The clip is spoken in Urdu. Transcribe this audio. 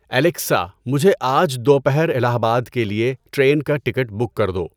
الیکسا مجھے آج دوپہر الٰہ آباد کے لیے ٹرین کا ٹکٹ بک کر دو